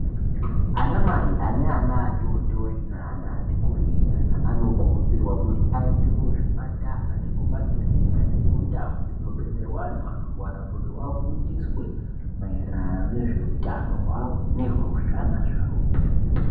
Ana mai ane aana atootori neana ati kureyi nyana anokurudzirwa kuti aende kuzvipatara nekumakirinika neku ndawu dzinobetserwa antu anorwara kuti afundiswe maererano nezveutano hwavo nezve zvana zvawo.